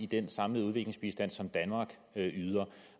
det er sådan at